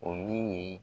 O min ye